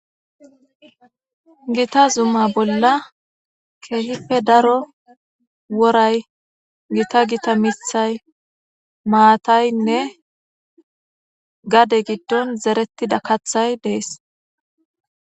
Gita zuma bolla keehipe daro woray, gita gita miththay, maataynne gade giddon zerettida kaatjthay dees.